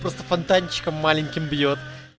просто фонтанчиком маленьким бьёт